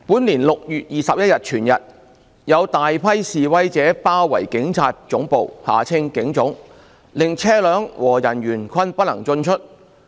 本年6月21日全日，有大批示威者包圍警察總部，令車輛和人員均不能進出。